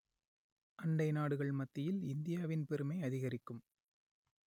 அண்டை நாடுகள் மத்தியில் இந்தியாவின் பெருமை அதிகரிக்கும்